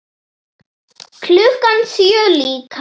Klukkan sjö líka.